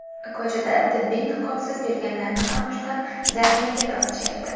Ko‘chada tibbiy niqobsiz yurganlarni ham ushlab, jarimaga tortishyapti.